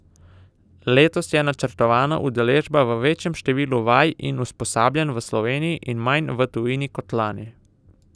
Letos je načrtovana udeležba v večjem številu vaj in usposabljanj v Sloveniji in manj v tujini kot lani.